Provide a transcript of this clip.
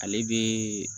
Ale bɛ